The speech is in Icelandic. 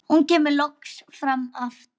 Hún kemur loks fram aftur.